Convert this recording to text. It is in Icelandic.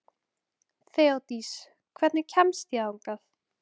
Þeódís, hvernig kemst ég þangað?